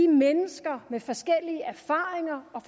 mennesker med forskellige erfaringer og